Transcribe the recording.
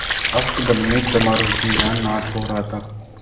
अस्तबल में चमारों के यहाँ नाच हो रहा था